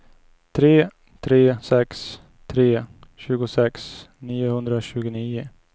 tre tre sex tre tjugosex niohundratjugonio